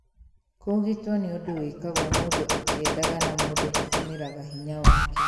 kũũgitwo nĩ ũndũ wĩkagwo mũndu akĩendaga na mũndũ atũmĩraga hinya wake.